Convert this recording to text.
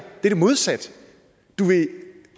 er det modsatte